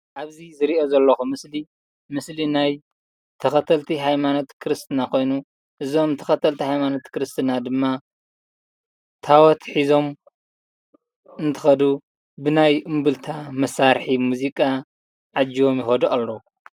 ኣብዚ ዝሪኦ ዘለኹ ምስሊ፡ ምስሊ ናይ ተኸተልቲ ሃይማኖት ክርስትና ኾይኑ እዞም ተኸተልቲ ሃይማኖት ክርስትና ድማ ታቦት ሒዞም እንትኸዱ ብናይ እምብልታ መሳርሒ መዚቃ ተዓጂቦም ይኸዱ ኣለው፡፡